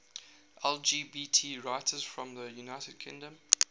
lgbt writers from the united kingdom